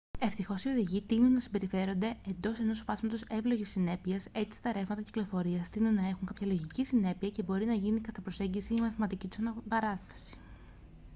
ευτυχώς οι οδηγοί τείνουν να συμπεριφέρονται εντός ενός φάσματος εύλογης συνέπειας· έτσι τα ρεύματα κυκλοφορίας τείνουν να έχουν κάποια λογική συνέπεια και μπορεί να γίνει κατά προσέγγιση η μαθηματική τους αναπαράσταση